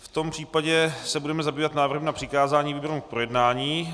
V tom případě se budeme zabývat návrhem na přikázání výborům k projednání.